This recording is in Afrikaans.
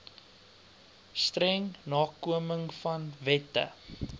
streng nakomingvan wette